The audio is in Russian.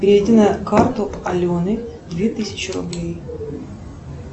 переведи на карту алены две тысячи рублей